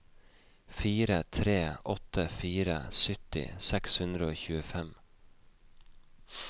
fire tre åtte fire sytti seks hundre og tjuefem